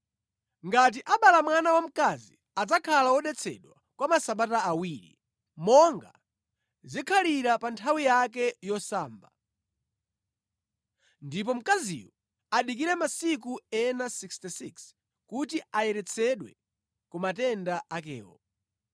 Ngati abala mwana wamkazi, adzakhala wodetsedwa kwa masabata awiri, monga zikhalira pa nthawi yake yosamba. Ndipo mkaziyo adikire masiku ena 66, kuti ayeretsedwe ku matenda akewo.